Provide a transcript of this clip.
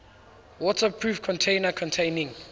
waterproof container containing